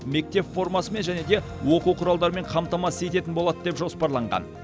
мектеп формасымен және де оқу құралдарымен қамтамасыз ететін болады деп жоспарланған